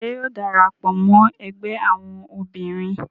Ṣe yóò darapọ mọ ẹgbẹ awọn obinrin?